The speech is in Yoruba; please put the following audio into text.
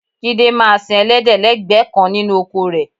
Jídé máa sin ẹlẹ́dẹ̀ lẹ́gbẹ̀ẹ́ kan nínú oko rẹ